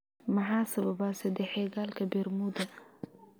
Maxaa sababa saddexagalka bermuda?